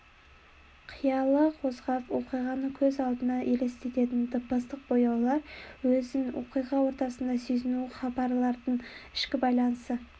қиялын қозғап оқиғаны көз алдына елестететін дыбыстық бояулар өзін оқиға ортасында сезінуі хабардың ішкі байланысы